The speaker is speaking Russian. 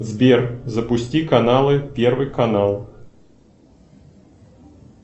сбер запусти каналы первый канал